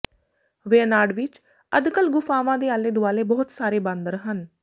ਵਯਨਾਡ ਵਿਚ ਅਦੱਕਲ ਗੁਫਾਵਾਂ ਦੇ ਆਲੇ ਦੁਆਲੇ ਬਹੁਤ ਸਾਰੇ ਬਾਂਦਰ ਹਨ